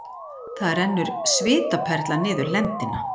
Það rennur svitaperla niður lendina.